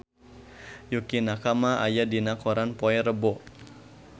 Yukie Nakama aya dina koran poe Rebo